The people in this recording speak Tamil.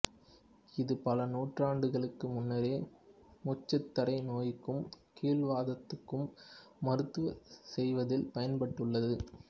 இது பல நூற்றாண்டுகளுக்கு முன்னரே மூச்சுத்தடை நோய்க்கும் கீல்வாதத்துக்கும் மருத்துவம் செய்வதில் பயன்பட்டுள்ளது